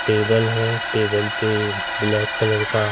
table है table पे black colour का --